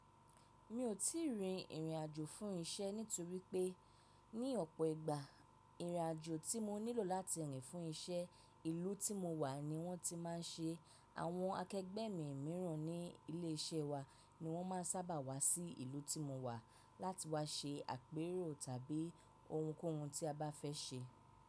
Mi ò tí ì rìn ìrìnàjò fún iṣẹ́ nítorí pé ní ọ̀pọ̀ ìgbà ìrìnàjò tí mo nílò láti rìn fún iṣẹ́, ìlú tí mo wà ni wọ́n ti máa ń ṣe. Àwọn akẹgbẹ́ mi mìíràn ní ilé iṣẹ́ wa ni wọ́n máa sábà wá sí ìlú tí mo wà láti wá ṣe àpérò tàbí ohunkóhun tí a bá fẹ́ ṣe.